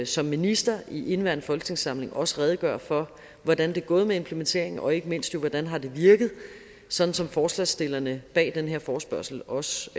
som minister i indeværende folketingssamling også redegøre for hvordan det er gået med implementeringen og ikke mindst jo hvordan det har virket sådan som forslagsstillerne bag den her forespørgsel også